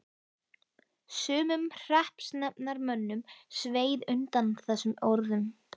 Sumum hreppsnefndarmönnum sveið undan þessum orðum.